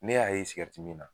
Ne y'a ye sigɛrɛti mi na